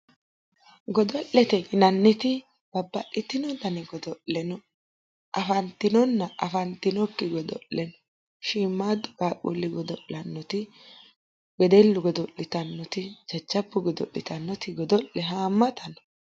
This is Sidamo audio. Godo'lete yinanniti babbaxxitino dani godo'le no, afantinonna afantinokki godo'le no, shiimmaadu qaaqqulli godo'lannoti wedellu godo'lannoti jajjabbu godo'litannoti godo'le haamata no.